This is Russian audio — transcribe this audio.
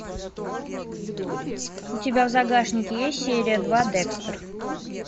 у тебя в загашнике есть серия два декстер